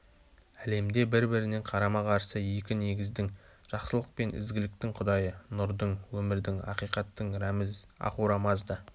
әлемде бір-біріне карама-қарсы екі негіздің жақсылық пен ізгіліктің құдайы нұрдың өмірдің ақиқаттың рәміз ахура-мазда